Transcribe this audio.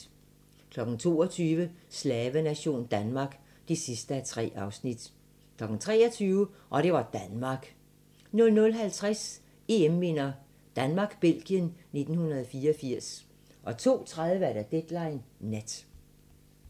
22:00: Slavenation Danmark (3:3) 23:00: Og det var Danmark 00:50: EM-minder: Danmark-Belgien 1984 02:30: Deadline Nat